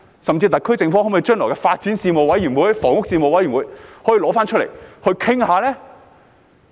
甚至特區政府可否將來在發展事務委員會或房屋事務委員會再提出來討論呢？